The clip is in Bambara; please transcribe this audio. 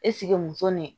Eseke muso ni